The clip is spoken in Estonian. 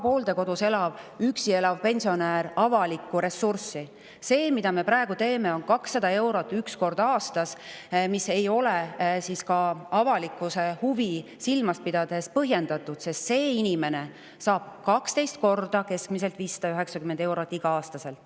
See, mille me praegu, on 200 eurot üks kord aastas, mis ei ole ka avalikkuse huvi silmas pidades põhjendatud, sest see inimene saab igal aastal keskmiselt 12 korda 590 eurot.